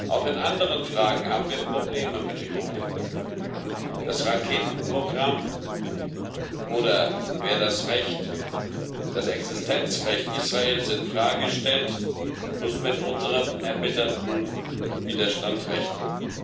Auch in anderen Fragen haben wir Probleme mit dem Iran das Raketenprogramm oder wer das Existenzrecht Israels in Frage stellt, muss mit unserem erbitterten Widerstand rechnen.